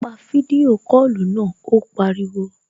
Pa fídíò kọlù náà, ó pariwo